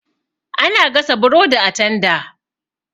Ana gasa burodi a tanda.